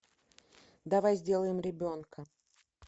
давай сделаем ребенка